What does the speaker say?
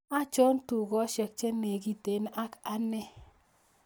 Achon tugoshek chenegiten ak ane